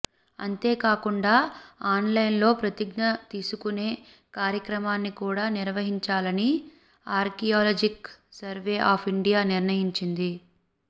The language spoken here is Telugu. అంతే కాకుండా ఆన్ లైన్ లో ప్రతిజ్ఞ తీసుకునే కార్యక్రమాన్ని కూడా నిర్వహించాలని ఆర్కియోలాజికల్ సర్వే ఆఫ్ ఇండియా నిర్ణయించింది